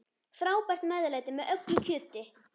Frábært meðlæti með öllu kjöti.